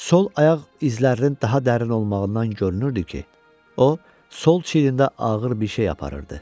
Sol ayaq izlərinin daha dərin olmağından görünürdü ki, o sol çiyrində ağır bir şey aparırdı.